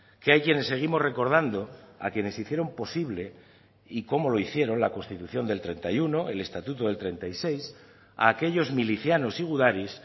que hay quienes seguimos recordando a quienes hicieron posible y cómo lo hicieron la constitución del treinta y uno el estatuto del treinta y seis a aquellos milicianos y gudaris